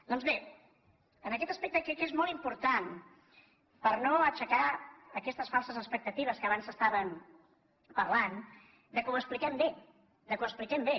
doncs bé en aquest aspecte crec que és molt important per no aixecar aquestes falses expectatives que abans estaven parlant que ho expliquem bé que ho expliquem bé